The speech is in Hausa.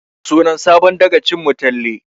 Sunan sabon dagacin mu Talle